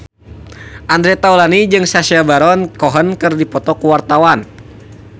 Andre Taulany jeung Sacha Baron Cohen keur dipoto ku wartawan